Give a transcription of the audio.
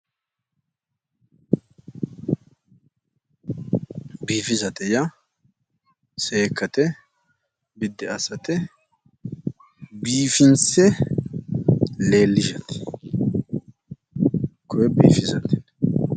Biifisate yaa seekkate biddi assate biifinse leellishate koye biifisate